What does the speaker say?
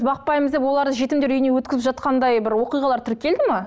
бақпаймыз деп оларды жетімдер үйіне өткізіп жатқандай бір оқиғалар тіркелді ме